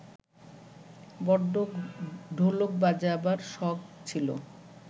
বড্ড ঢোলক বাজাবার শখ ছিল